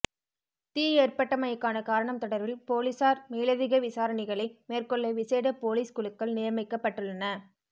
தீ ஏற்பட்டமைக்கான காரணம் தொடர்பில் பொலிஸார் மேலதிக விசாரணைகளை மேற்கொள்ள விசேட பொலிஸ் குழுக்கள் நியமிக்கப்பட்டுள்ளன